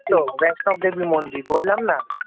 ওই তো বৈষ্ণব দেবী মন্দির বললাম না